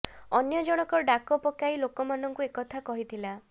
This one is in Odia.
ଅନ୍ୟ ଜଣକ ଡାକ ପକାଇ ଲୋକମାନଙ୍କୁ ଏ କଥା କହିଥିଲା